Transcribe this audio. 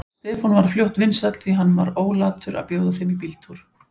Stefán varð fljótt vinsæll, því hann var ólatur að bjóða þeim í bíltúr.